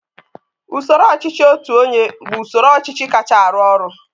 usoro ọchịchị otu onye bụ usoro ọchịchị kacha arụ ọrụ